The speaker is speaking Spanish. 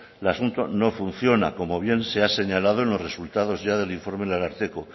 el asunto no funciona como bien se ha señalado en los resultado ya del informe del ararteko